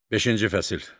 Beşinci fəsil.